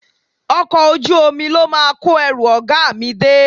Ọkọ̀ ojú omi ló máa kó ẹrù ọ̀gá mi dé